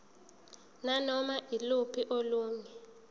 nanoma yiluphi olunye